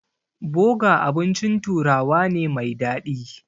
Boga abincin turawa ne mai daɗi.